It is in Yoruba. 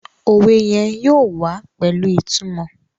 òwe yén yóò wá pẹlu ìtumò.